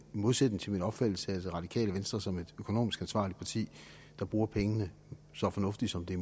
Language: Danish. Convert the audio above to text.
modsætning til min opfattelse af det radikale venstre som et økonomisk ansvarligt parti der bruger pengene så fornuftigt som det